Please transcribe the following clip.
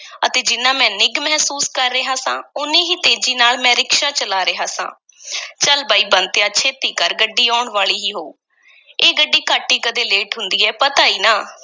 ਅਤੇ ਜਿੰਨਾ ਮੈਂ ਨਿੱਘ ਮਹਿਸੂਸ ਕਰ ਰਿਹਾ ਸਾਂ, ਓਨੀ ਹੀ ਤੇਜ਼ੀ ਨਾਲ ਮੈਂ ਰਿਕਸ਼ਾ ਚਲਾ ਰਿਹਾ ਸਾਂ ਚੱਲ ਬਈ, ਬੰਤਿਆ ਛੇਤੀ ਕਰ, ਗੱਡੀ ਆਉਣ ਵਾਲੀ ਹੀ ਹੋਊ, ਇਹ ਗੱਡੀ ਘੱਟ ਈ ਕਦੀ ਲੇਟ ਹੁੰਦੀ ਹੈ, ਪਤਾ ਈ ਨਾ?